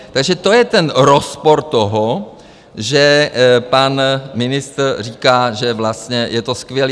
Takže to je ten rozpor toho, že pan ministr říká, že vlastně je to skvělé.